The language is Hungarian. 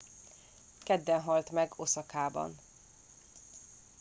kedden halt meg oszakában